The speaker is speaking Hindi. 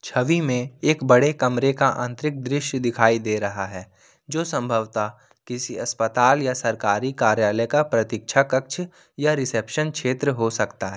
छवि में एक बड़े कमरे का आंतरिक दृश्य दिखाई दे रहा है जो संभवतः किसी अस्पताल या सरकारी कार्यालय का प्रतीक्षा कक्ष या रिसेप्शन क्षेत्र हो सकता है।